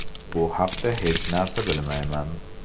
Bu haqda hech narsa bilmayman.